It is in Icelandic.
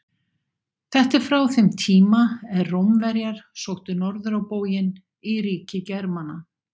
Þetta er frá þeim tíma er Rómverjar sóttu norður á bóginn í ríki Germana.